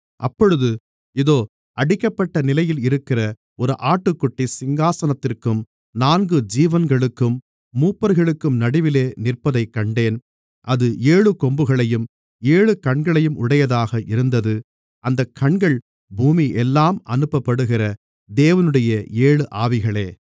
அப்பொழுது இதோ அடிக்கப்பட்ட நிலையில் இருக்கிற ஒரு ஆட்டுக்குட்டி சிங்காசனத்திற்கும் நான்கு ஜீவன்களுக்கும் மூப்பர்களுக்கும் நடுவிலே நிற்பதைக் கண்டேன் அது ஏழு கொம்புகளையும் ஏழு கண்களையும் உடையதாக இருந்தது அந்தக் கண்கள் பூமியெல்லாம் அனுப்பப்படுகிற தேவனுடைய ஏழு ஆவிகளே